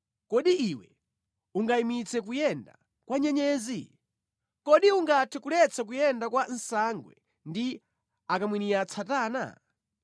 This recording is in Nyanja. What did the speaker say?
“Kodi iwe ungayimitse kuyenda kwa nyenyezi? Kodi ungathe kuletsa kuyenda kwa nsangwe ndi akamwiniatsatana?